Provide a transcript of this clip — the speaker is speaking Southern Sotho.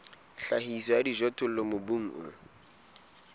tlhahiso ya dijothollo mobung o